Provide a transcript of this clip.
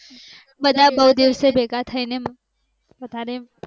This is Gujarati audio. બધા બોવ દિવસે ભેગા થઈ ને